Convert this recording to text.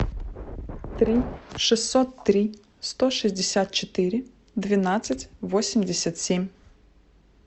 три шестьсот три сто шестьдесят четыре двенадцать восемьдесят семь